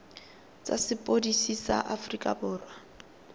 tsa sepodisi sa aforika borwa